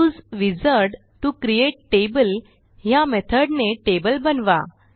use wizard to create table ह्या method ने table बनवा